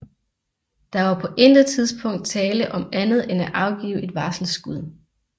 Der var på intet tidspunkt tale om andet end at afgive et varselsskud